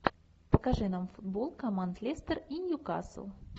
покажи нам футбол команд лестер и ньюкасл